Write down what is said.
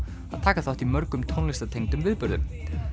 að taka þátt í mörgum tónlistartengdum viðburðum